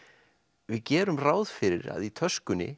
við gerum ráð fyrir að í töskunni